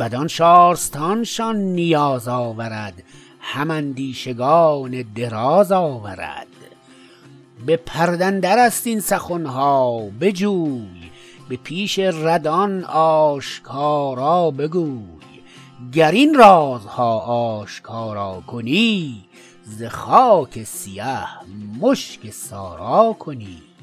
بدان شارستان شان نیاز آورد هم اندیشگان دراز آورد به پرده درست این سخنها بجوی به پیش ردان آشکارا بگوی گر این رازها آشکارا کنی ز خاک سیه مشک سارا کنی